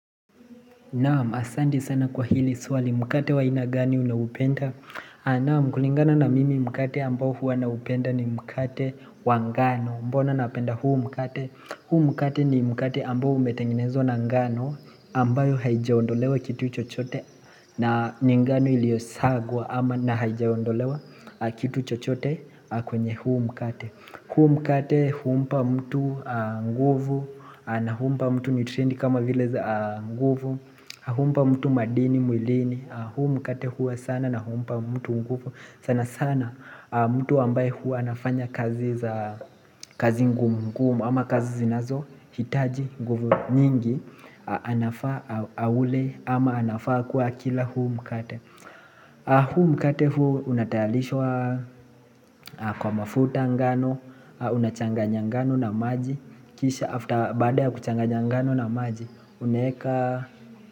Naam, asanti sana kwa hili swali, mkate wa aina gani unaupenda? Naam, kulingana na mimi mkate ambao huwa naupenda ni mkate wa ngano. Mbona napenda huu mkate? Huu mkate ni mkate ambao umetengenezwa na ngano ambayo haijaondolewa kitu chochote na ni ngano iliosagwa ama na haijaondolewa kitu chochote kwenye huu mkate. Hu mkate humpa mtu nguvu na humpa mtu nutrients kama vile za nguvu humpa mtu madini, mwilini huu mkate huwa sana na humpa mtu nguvu sana sana mtu ambaye huwa anafanya kazi za kazi ngumu ngumu ama kazi zinazo hitaji nguvu nyingi Anafa aule ama anafaa kuwa akila huu mkate Hu mkate hua unatayarishwa kwa mafuta ngano unachanganya ngano na maji Kisha after baada ya kuchanganya ngano na maji unaweka.